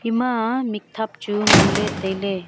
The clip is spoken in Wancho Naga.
ema mikthap chu ngan ley tai ley.